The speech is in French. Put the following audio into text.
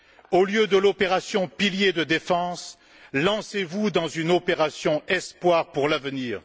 Au lieu de l'opération Pilier de Défense, lancez vous dans une opération Espoir pour l'avenir.